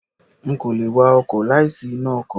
N kò le wa ọkọ̀ láì sí iná ọkọ̀.